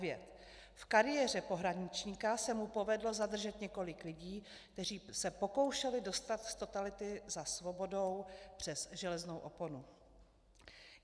V kariéře pohraničníka se mu povedlo zadržet několik lidí, kteří se pokoušeli dostat z totality za svobodou přes železnou oponu.